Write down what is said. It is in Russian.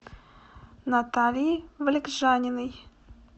натальи вылегжаниной